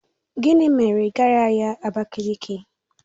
Gịnị mere ị gaghị ahịa Abakiliki?